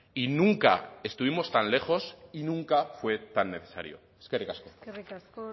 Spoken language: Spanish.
y nunca estuvimos tan lejos y nunca fue tan necesario eskerrik asko eskerrik asko